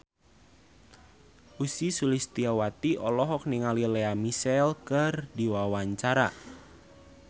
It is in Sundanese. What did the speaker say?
Ussy Sulistyawati olohok ningali Lea Michele keur diwawancara